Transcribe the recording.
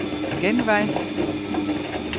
genvej